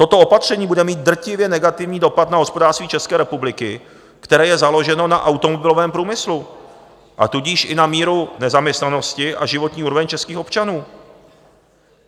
Toto opatření bude mít drtivě negativní dopad na hospodářství České republiky, které je založeno na automobilovém průmyslu, a tudíž i na míru nezaměstnanosti a životní úroveň českých občanů.